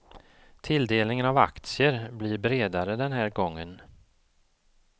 Tilldelningen av aktier blir bredare den här gången.